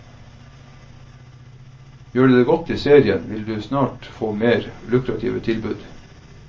Gjør du det godt i serien, vil du snart få mer lukrative tilbud.